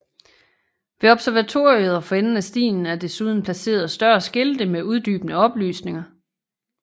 Ved observatoriet og for enden af stien er desuden placeret større skilte med uddybende oplysninger